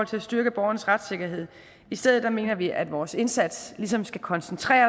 til at styrke borgerens retssikkerhed i stedet mener vi at vores indsats ligesom skal koncentreres